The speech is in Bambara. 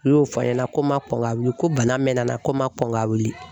U y'o fɔ a ɲɛna ko n ma kɔn ka wili ko bana mɛnna ko n ma kɔn ka wili